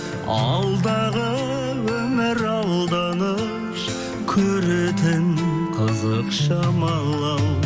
алдағы өмір алданыш көретін қызық шамалы ау